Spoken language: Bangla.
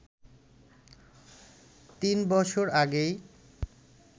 ৩ বছর আগেই